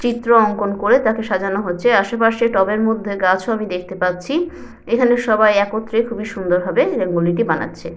চিত্র অঙ্কন করে তাকে সাজানো হয়েছে। আশেপাশে টবের মধ্যে গাছ ও আমি দেখতে পাচ্ছি। এখানে সবাই একত্রে খুবই সুন্দর ভাবে রঙ্গোলি - টি বানাচ্ছে।